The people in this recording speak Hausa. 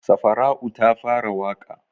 Safara'u ta fara waƙa?